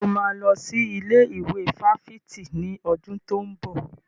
Ṣé o máa lọ sí ilé ìwé fáfitì ní ọdún tó ń bọ̀?